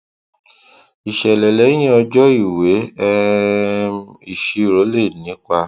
ìṣẹlẹ lẹyìn ọjọ ìwé um ìṣirò lè ní ipa